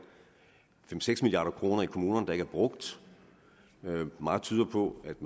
fem seks milliard kroner i kommunerne der ikke er brugt og meget tyder på at